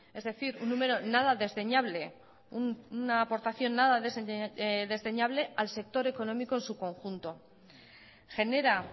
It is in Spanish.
es decir un número nada desdeñable una aportación nada desdeñable al sector económico en su conjunto genera